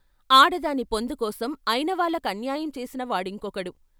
ఆడదాని పొందుకోసం అయినవాళ్ళకన్యాయం చేసిన వాడింకొకడు.